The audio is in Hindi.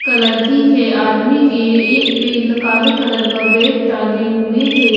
एक लड़की है आदमी के एक पेल काले कलर का बैग टांगें हुए हैं।